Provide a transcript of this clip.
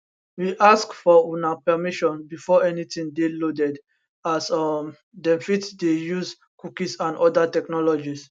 we ask for una permission before anytin dey loaded as um dem fit dey use cookies and oda technologies